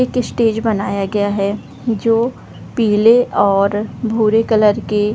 एक स्टेज बनाया गया है जो पीले और भूरे कलर के --